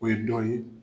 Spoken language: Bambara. O ye dɔ ye